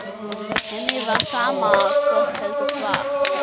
Henni var sama hvort heldur var.